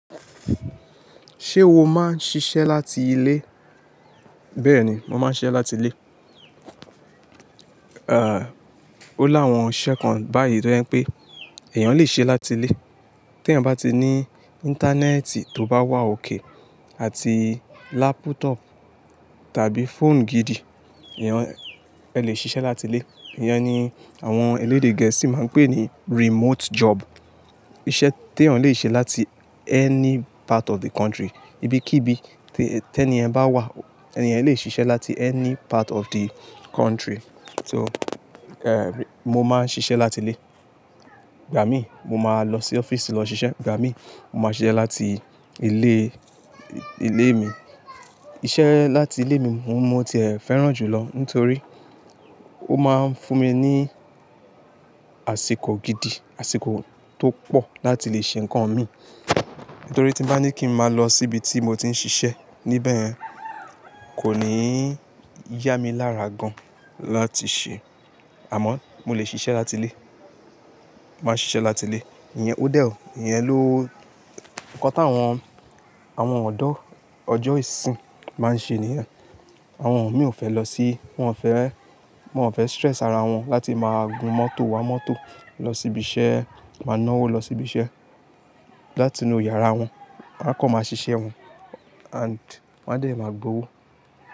Ṣé o máa ń ṣiṣẹ́ láti ilé? Bẹ́ẹ̀ ni, mo máa ń ṣiṣẹ́ láti ilé. À, ó láwọn iṣẹ́ kan báyìí tó je n pé èèyàn lè ṣe láti ilé. Tí èèyàn bá ti ní ayelujara tó bá wà daradara àti komputa alágbééka tàbí ero alagbeeka gidi, èèyàn, ẹ lè ṣiṣẹ́ láti ilé. Ìyẹn ni àwọn elédè gẹ̀ẹ́sì máa ń pè ní sise lati ile. Iṣẹ́ tí èèyàn lè ṣe láti apa kan orilede, ibi kí ibi tí ẹniyen bá wà, ẹni èèyen lè ṣiṣẹ́ láti apa kan orilede mo máa ń ṣiṣẹ́ láti ilé. Ìgbà mí, mo máa lọ sí ile ise lọ ṣiṣẹ́, ìgbà mí, mo máa ṣiṣẹ́ láti ilé, ilé mi. Iṣẹ́ láti ilé mi mo ti ẹ̀ fẹ́ràn jù lọ nítorí ó máa ń fún mi ní àsìkò gidi, àsìkò tó pọ̀ láti lè ṣe nǹkan mi. Nítorí tí bá ní kí n máa lọ síbi tí mo ti ń ṣiṣẹ́, níbẹ̀ kò ní yá mi lára gan láti ṣe. Iṣẹ́ tí èèyàn lè ṣe láti apa kan orilede, ibi kí ibi tí ẹni èèyàn bá wà, ẹni èèyàn lè ṣiṣẹ́ láti apa kan orilede. Mo máa ń ṣiṣẹ́ láti ilé. Ìyẹn ó dẹ́ ọ, ìyẹn ló nǹkan tí àwọn, àwọn ọ̀odọ́ ọjọ́ isinyi máa ń ṣe nìyẹn. Àwọn mìíràn ò fẹ́ lọ sí, wọ́n ò fẹ́, wọ́n ò fẹ́ idaamu okan ara wọn láti máa gu mọ́tò, wa mọ́tò lọ síbi iṣẹ́, máa náwó lọ sí ibi iṣẹ́. Láti inú yàrá wọn, wọ́n á kọ̀ máa ṣiṣẹ́ wọn ati wọ́n á dè ẹ́ máa gbowó.